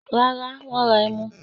Rárá, wọ́n ra ẹmu.